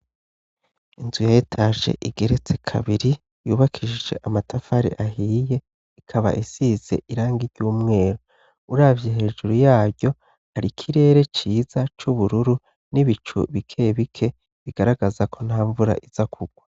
Inzu ya etaje igeretse kabiri yubakishije amatafari ahiye ikaba isize irangi ry'umweru, uravye hejuru yaryo hari ikirere ciza c'ubururu n'ibicu bike bike bigaragaza ko nta mvura iza kugwa.